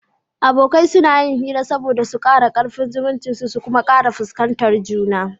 Abokai suna yin hira saboda su kara karfin zumuncin su kuma su kara fuskantar juna